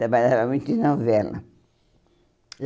Trabalhava muito em novela.